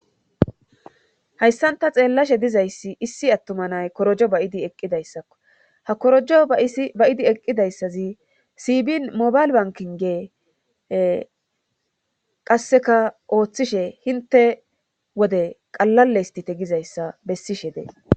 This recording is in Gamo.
Hyssanta xeellashe dizayssi issi attuma nay korojo bayidi eqqidayssakko ha korojo bayidi eqqidayssazi sibin mobayl bankinge qasseka ooththishe hinte wode qalale istite gizayssa bessishe dee..